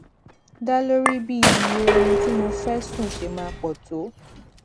dá lórí bí iye oorun tí mo fé sùn ṣe máa pò tó